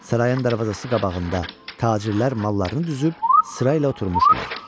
Sarayın darvazası qabağında tacirlər mallarını düzüb sırayla oturmuşdular.